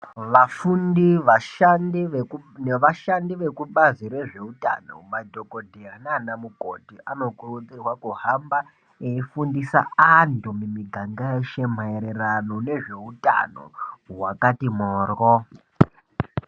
Vafundi nevashandi vekubazi rezvehutano madhokotera nanamukoti anokurudzirwa kuhamba echifundisa antu mumiganda Ashe maererano nezveutano hwakati moro